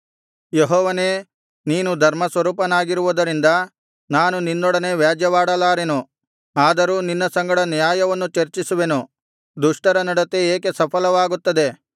ಯೆಹೋವನೇ ನೀನು ಧರ್ಮಸ್ವರೂಪನಾಗಿರುವುದರಿಂದ ನಾನು ನಿನ್ನೊಡನೆ ವ್ಯಾಜ್ಯವಾಡಲಾರೆನು ಆದರೂ ನಿನ್ನ ಸಂಗಡ ನ್ಯಾಯವನ್ನು ಚರ್ಚಿಸುವೆನು ದುಷ್ಟರ ನಡತೆ ಏಕೆ ಸಫಲವಾಗುತ್ತದೆ